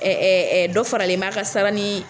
Ɛɛ ɛ ɛ dɔ faralen b'a ka sawura ni